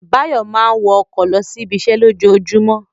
Báyọ̀ máa ń wọ ọkọ̀ lọ sí ibiṣẹ́ lójoojúmọ́